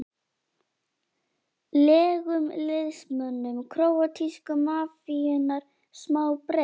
legum liðsmönnum króatísku mafíunnar smá breik?